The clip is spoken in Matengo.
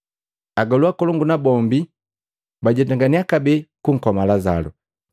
Agolu akolongu nabombi bajetanganiya kabee kunkoma Lazalu,